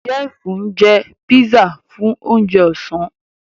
Jeff njẹ pizza Fún oúnjẹ Ọ̀sán